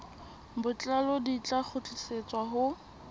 botlalo di tla kgutlisetswa ho